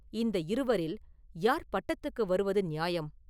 இந்த இருவரில் யார் பட்டத்துக்கு வருவது நியாயம்?